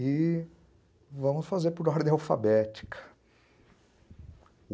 E vamos fazer por ordem alfabética.